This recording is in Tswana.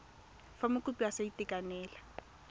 fa mokopi a sa itekanela